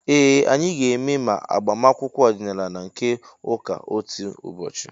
Ee, anyị ga-eme ma agbamakwụkwọ ọdịnaala na nke ụka otu ụbọchị